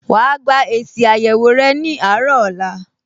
Wà á gba èsì àyẹ̀wò rẹ ní àárọ̀ ọ̀la